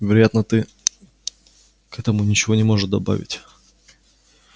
вероятно ты к этому ничего не можешь добавить